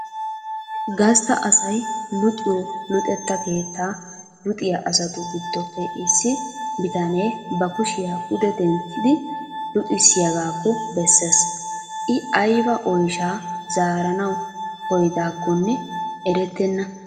Gastta asay luxxiyoo luxxetta keettaa luxxiyaa asatu giddoppe issi bitanee ba kushiyaa pude denttidi luxxisiyaagakko bessees. I ayba oyshshaa zaaranawu koyidaakonne erettenna.